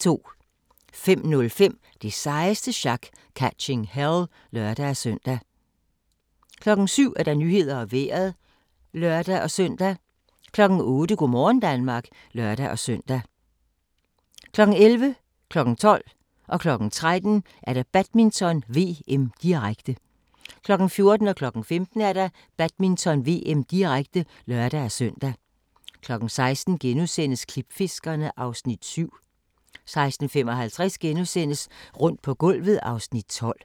05:05: Det sejeste sjak - Catching Hell (lør-søn) 07:00: Nyhederne og Vejret (lør-søn) 08:00: Go' morgen Danmark (lør-søn) 11:00: Badminton: VM, direkte 12:00: Badminton: VM, direkte 13:00: Badminton: VM, direkte 14:00: Badminton: VM, direkte (lør-søn) 15:00: Badminton: VM, direkte (lør-søn) 16:00: Klipfiskerne (Afs. 7)* 16:55: Rundt på gulvet (Afs. 12)*